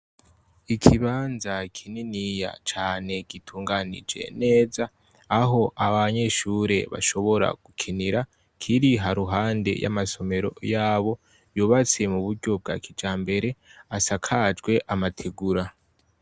Ikibanza kininiya cane gitunganije neze, aho abanyeshure bashobora gukinira kiri haruhande yamasomero yabo yubatse muburyo bwakijambere, asakajwe amategura.